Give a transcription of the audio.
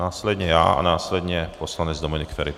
Následně já a následně poslanec Dominik Feri.